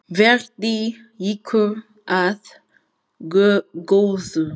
Verði ykkur að góðu.